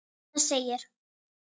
Það segir